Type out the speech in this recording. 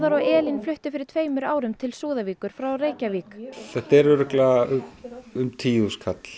og Elín fluttu fyrir tveimur árum til Súðavíkur frá Reykjavík þetta er ábyggilega um tíu þúsund